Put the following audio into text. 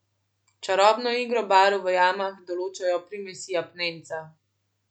Čarobno igro barv v jamah določajo primesi apnenca.